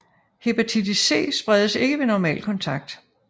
Hepatitis C spredes ikke ved normal kontakt